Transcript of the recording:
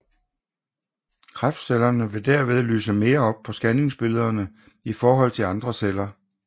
Kræftcellerne vil derved lyse mere op på scanningsbillederne i forhold til andre celler